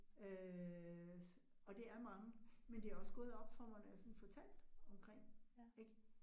Øh og det er mange, men det også gået op for mig, når jeg sådan fortalte omkring ik